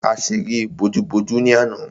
A ṣeré bojú-bojú ni àná.